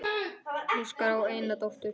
Óskar á eina dóttur.